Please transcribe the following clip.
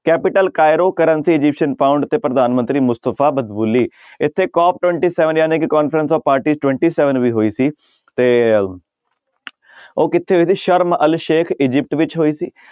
Capital Cairo currency Egyptian pound ਤੇ ਪ੍ਰਧਾਨ ਮੰਤਰੀ ਮੁਸਤਫ਼ਾ ਮਦਬੁਲੀ ਇੱਥੇ ਕੋਪ twenty seven ਜਾਣੀ ਕਿ conference of party twenty seven ਵੀ ਹੋਈ ਸੀ ਤੇ ਉਹ ਕਿੱਥੇ ਹੋਈ ਸੀ ਸਰਮ ਅਲ ਸੇਖ ਅਜਿਪਟ ਵਿੱਚ ਹੋਈ ਸੀ।